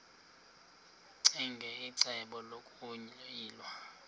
ccinge icebo lokuyilwa